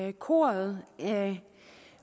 i koret af